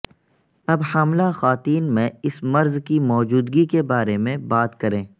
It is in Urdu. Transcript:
اب حاملہ خواتین میں اس مرض کی موجودگی کے بارے میں بات کریں